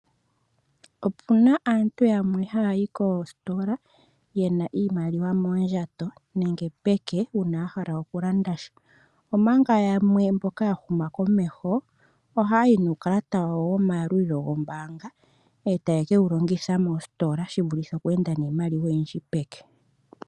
Opuna aantu yamwe haya yi koositola yena iimaliwa moondjato nenge peke uuna ya hala oku landasha. Omanga yamwe mboka ya huma komeho oha ya yi nuukalata wayo womayalulilo goombaanga. Eta ye kewu longitha moositola shivulithe oku enda niimaliwa oyindji peke.